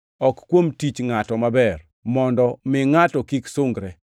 ok kuom tich ngʼato maber, mondo mi ngʼato kik sungre.